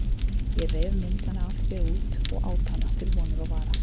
Ég reif myndina af þér út og át hana til vonar og vara.